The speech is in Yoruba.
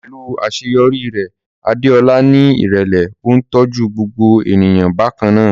Pẹ̀lú àṣeyọrí rẹ̀, Adeola ní ìrẹ̀lẹ̀, ó ń tọ́jú gbogbo ènìyàn bákan náà.